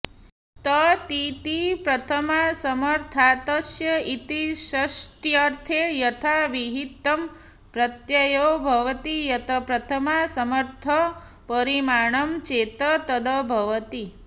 ततिति प्रथमासमर्थातस्य इति षष्ठ्यर्थे यथाविहितं प्रत्ययो भवति यत् प्रथमासमर्थं परिमाणं चेत् तद् भवति